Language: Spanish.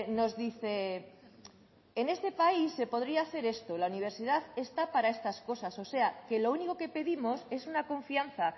nos dice en este país se podría hacer esto la universidad está para estas cosas o sea que lo único que pedimos es una confianza